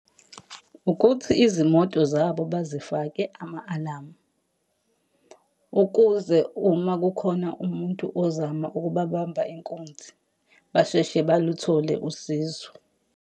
Ukuthi izimoto zabo bazifake ama-alamu. Ukuze uma kukhona umuntu ozama ukubabamba inkunzi, basheshe baluthole usizo.